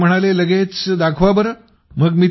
तर ते म्हणाले लगेच दाखवा बरे